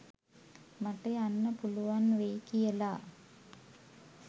මට යන්න පුළුවන් වෙයි කියලා.